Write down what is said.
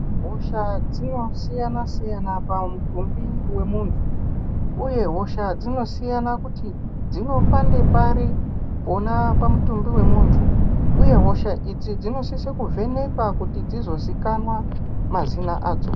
Hosha dzinosiyana-siyana pamutumbi wemuntu uye hosha dzinosiyana kuti dzinopande pari pamutumbi wemuntu uye hosha idzi dzinosisa kovhenekwa kuti dzizozikanwa mazina adzo.